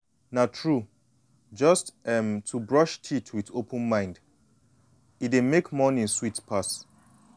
na true just um to brush teeth with open mind e dey make morning sweet pass.